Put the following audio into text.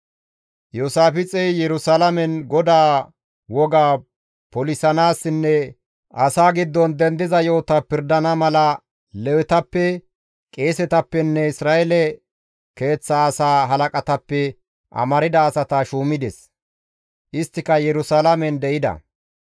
Iyoosaafixey Yerusalaamen GODAA wogaa polisanaassinne asaa giddon dendiza yo7ota pirdana mala Lewetappe, qeesetappenne Isra7eele keeththa asaa halaqatappe amarda asata shuumides. Isttika Yerusalaamen de7ida.